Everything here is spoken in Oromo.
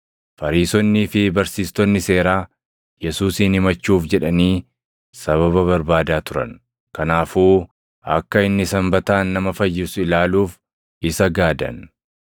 Fariisonnii fi barsiistonni seeraa Yesuusin himachuuf jedhanii sababa barbaadaa turan; kanaafuu akka inni Sanbataan nama fayyisu ilaaluuf isa gaadan.